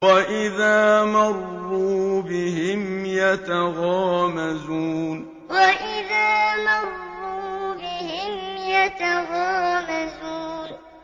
وَإِذَا مَرُّوا بِهِمْ يَتَغَامَزُونَ وَإِذَا مَرُّوا بِهِمْ يَتَغَامَزُونَ